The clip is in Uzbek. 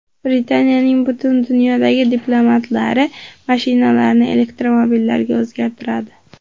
Britaniyaning butun dunyodagi diplomatlari mashinalarini elektromobillarga o‘zgartiradi.